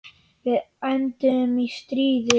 Við enduðum í stríði.